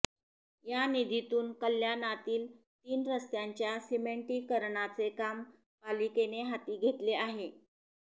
या निधीतून कल्याणातील तीन रस्त्यांच्या सिमेंटीकरणाचे काम पालिकेने हाती घेतले आहे